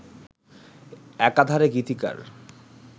একাধারে গীতিকার